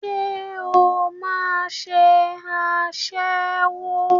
Ṣé o máà ń ṣe aṣẹ́wó?